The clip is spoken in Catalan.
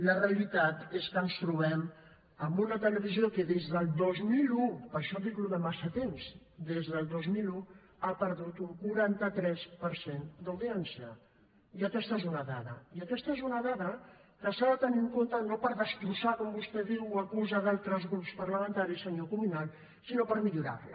la realitat és que ens trobem amb una televisió que des del dos mil un per això dic allò de massa temps des del dos mil un ha perdut un quaranta tres per cent d’audiència i aquesta és una dada i aquesta és una dada que s’ha de tenir en compte no per destrossar com vostè diu o acusa altres grups parlamentaris senyor cuminal sinó per millorar la